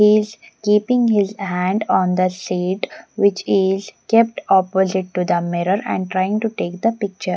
Is keeping his hand on the seat which is kept opposite to the mirror and trying to take the picture.